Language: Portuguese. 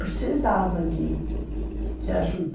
Precisava de de ajuda.